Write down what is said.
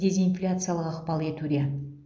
дезинфляциялық ықпал етуде